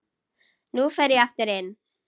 Nú fer ég aftur inn.